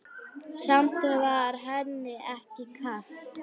Samt var henni ekki kalt.